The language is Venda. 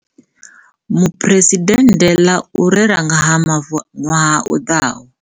Mu phuresidennde ḽa u rera nga ha Mavu ṅwaha u ḓaho.